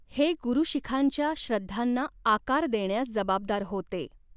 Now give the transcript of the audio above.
हे गुरु शिखांच्या श्रद्धांना आकार देण्यास जबाबदार होते.